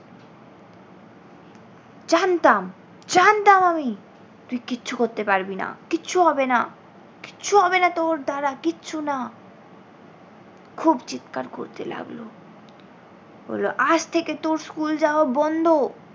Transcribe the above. জানতাম, জানতাম আমি তুই কিচ্ছু করতে পারবি না। কিচ্ছু হবে না। কিচ্ছু হবে না তোর দ্বারা, কিচ্ছু না। খুব চিৎকার করতে লাগলো, বলল আজ থেকে তোর school যাওয়া বন্ধ।